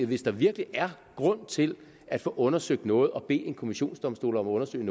hvis der virkelig er grund til at få undersøgt noget og bede en kommissionsdomstol om at undersøge